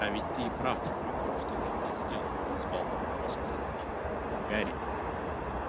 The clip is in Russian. а ведь ты и правда мог бы кое-что для меня сделать взволнованно воскликнул ник гарри